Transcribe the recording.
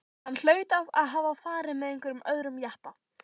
Hann hlaut að hafa farið með einhverjum öðrum jeppa.